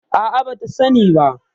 A'a, bata sani ba.